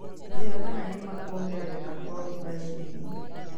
njĩira kana nĩ maa kũongerereka Kwa rũgari thĩĩnĩ